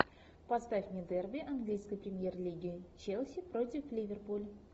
поставь мне дерби английской премьер лиги челси против ливерпуль